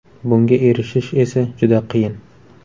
Bunga erishish esa juda qiyin.